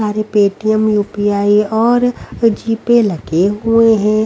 सारे Paytm UPI और GPay लगे हुए हैं।